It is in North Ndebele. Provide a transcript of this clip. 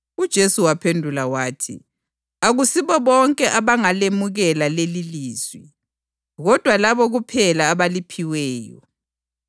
UJesu waphendula wathi, “Akusibo bonke abangalemukela lelilizwi, kodwa labo kuphela abaliphiweyo.